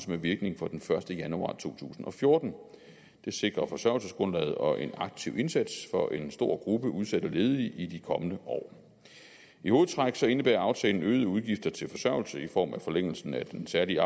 med virkning fra den første januar to tusind og fjorten det sikrer forsørgelsesgrundlaget og en aktiv indsats for en stor gruppe udsatte ledige i de kommende år i hovedtræk indebærer aftalen øgede udgifter til forsørgelse i form af forlængelsen af den særlige